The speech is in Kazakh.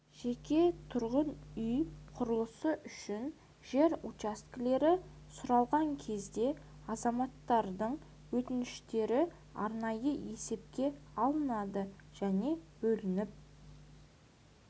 жеке тұрғын үй құрылысы үшін жер учаскелері сұралған кезде азаматтардың өтініштері арнайы есепке алынады және бөліп